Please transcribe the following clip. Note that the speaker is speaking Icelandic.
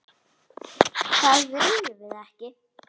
Það viljum við ekki.